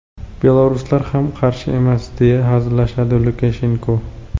Belaruslar ham qarshi emas”, deya hazillashadi Lukashenko.